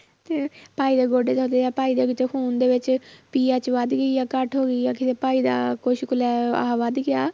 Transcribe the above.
ਤੇ ਭਾਈ ਦੇ ਗੋਡੇ ਦੁਖਦੇ ਆ, ਭਾਈ ਦੇ ਵਿੱਚ ਖੂਨ ਦੇ ਵਿੱਚ PH ਵੱਧ ਗਈ ਆ, ਘੱਟ ਹੋ ਗਈ ਆ ਕਿਸੇ ਭਾਈ ਦਾ ਕੁਛ ਵੱਧ ਗਿਆ